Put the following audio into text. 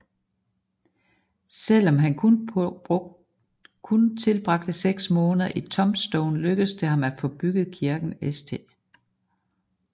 Selv om han kun tilbragte seks måneder i Tombstone lykkedes det ham at få bygget kirken St